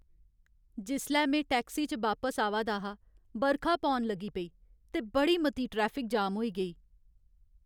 जिसलै में टैक्सी च बापस आवा दा हा, बरखा पौन लगी पेई ते बड़ी मती ट्रैफिक जाम होई गेई।